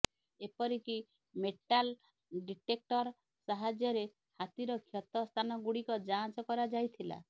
ଏପରି କି metal detector ସାହାଯ୍ୟରେ ହାତୀର କ୍ଷତ ସ୍ଥାନ ଗୁଡିକ ଯାଞ୍ଚ କରାଯାଇଥିଲା